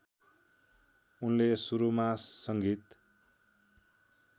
उनले सुरुमा सङ्गीत